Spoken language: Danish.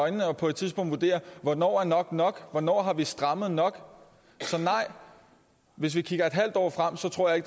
øjnene og på et tidspunkt vurdere hvornår nok er nok hvornår har vi strammet nok så nej hvis vi kigger et halvt år frem tror jeg